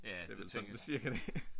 Det er vel sådan cirka det